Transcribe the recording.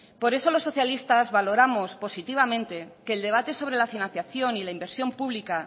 por eso los socialistas valoramos positivamente que el debate sobre la financiación y la inversión pública